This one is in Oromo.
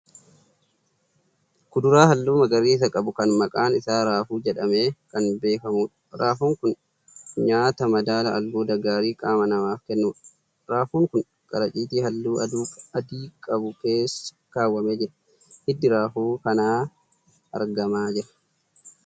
Kuduraa halluu magariisa qabu kan maqaan isaa Raafuu jedhamee Kan beekamudha. Raafuun kun nyaata madaalaa albuuda gaarii qaama namaaf kennudha. Raafuun kun qaracitii halluu adii qabu keessa kaawwamee jira. Hiddi raafuu kanaa argamaa jira.